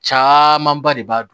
Camanba de b'a